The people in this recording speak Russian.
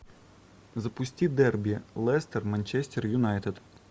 запусти дерби лестер манчестер юнайтед